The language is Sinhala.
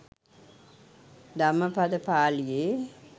ධම්මපද පාලියේ